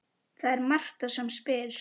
Það er Marta sem spyr.